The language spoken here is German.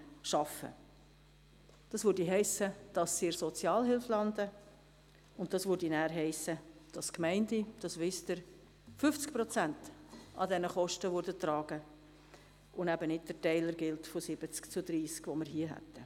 Das heisst: Sie würden in der Sozialhilfe landen, was wiederum hiesse, dass die Gemeinden – das wissen Sie – 50 Prozent dieser Kosten tragen würden, und eben nicht der Teiler von 30 zu 70 gälte, den wir hätten.